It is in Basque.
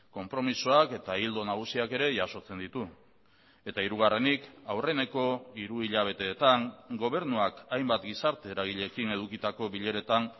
konpromisoak eta ildo nagusiak ere jasotzen ditu eta hirugarrenik aurreneko hiruhilabeteetan gobernuak hainbat gizarte eragileekin edukitako bileretan